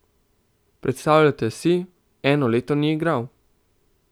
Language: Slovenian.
Predstavljajte si, eno leto ni igral.